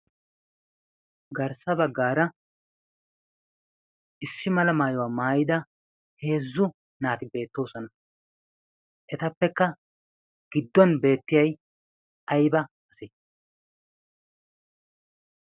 garssa baggaara issi mala maayuwaa maayida heezzu naati beettoosona. etappekka gidduwan beettiyai aiba ase?